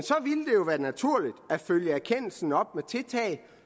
være naturligt at følge erkendelsen op med tiltag